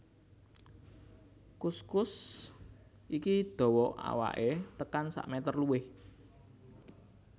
Kuskus iki dawa awaké tekan sakmétér luwih